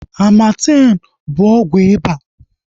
Amartem bụ ọgwụ iba